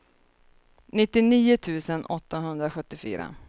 nittionio tusen åttahundrasjuttiofyra